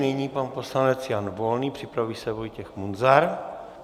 Nyní pan poslanec Jan Volný, připraví se Vojtěch Munzar.